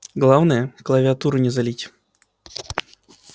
главное клавиатуру не залить